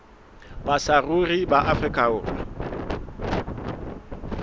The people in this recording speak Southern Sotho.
ba saruri ba afrika borwa